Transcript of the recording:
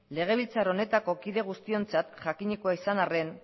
legebiltzar honetako kide guztiontzat jakinikoa izan arren